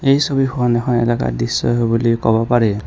এই ছবিখন নহয় এলেকাৰ দৃশ্যই হব বুলি কব পাৰি।